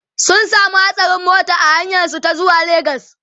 sun samu hatsarin mota a hanyar su ta zuwa legas